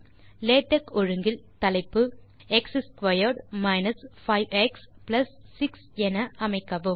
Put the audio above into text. LaTeX ஒழுங்கில் தலைப்பு x2 5x6 என அமைக்கவும்